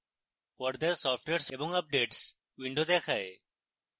পর্দায় software & updates window দেখায়